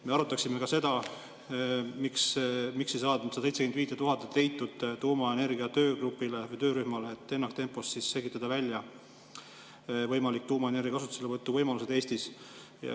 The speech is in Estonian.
Me arutaksime ka seda, miks ei leitud seda 75 000 tuumaenergia töörühmale, et ennaktempos selgitada välja võimalikud tuumaenergia kasutuselevõtu võimalused Eestis.